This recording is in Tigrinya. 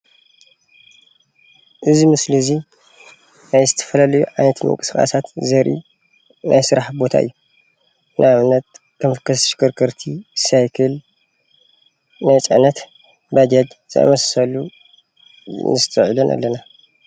እዚ ምስሊ እዙይ ናይ ዝተፈላለለዩ ዓይነት ምንቅስቃሳት ዘርኢ ናይ ስራሕ ቦታ እዩ። ንኣብነት ተሽከርከርቲ ሳይክል ናይ ፅዕነት ባጃጅ ነስተውዕል ኣለና።